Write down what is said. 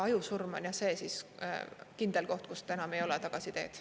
Ajusurm on see kindel koht, kus enam ei ole tagasiteed.